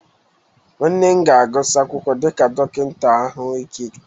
Nwanne m ga-agụsị akwụkwọ dịka dọkịta ahụike taa